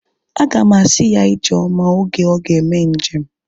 Aga m asị ya ijeoma oge ọ ga-eme njem